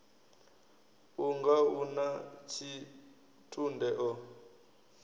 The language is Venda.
unga u na tshitunde o